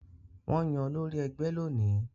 Wọ́n máa yan olórí ẹgbẹ́ lónìí